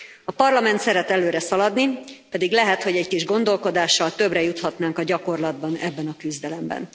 A Parlament szeret előre szaladni, pedig lehet, hogy egy kis gondolkodással többre juthatnánk a gyakorlatban ebben a küzdelemben.